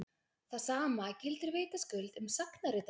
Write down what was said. það sama gildir vitaskuld um sagnaritara